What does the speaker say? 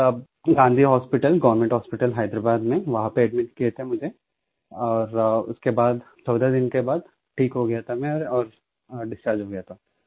तब Gandhi hospital government hospital Hyderabad में वहां पे एडमिट किया था मुझे और उसके बाद 14 दिन के बाद ठीक हो गया था मैं और डिसचार्ज हो गया था